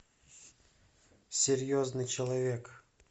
серьезный человек